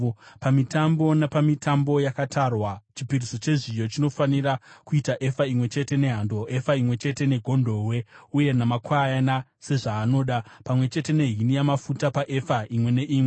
“ ‘Pamitambo napamitambo yakatarwa, chipiriso chezviyo chinofanira kuita efa imwe chete nehando, efa imwe chete negondobwe, uye namakwayana sezvaanoda, pamwe chete nehini yamafuta paefa imwe neimwe.